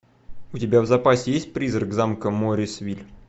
у тебя в запасе есть призрак замка моррисвилль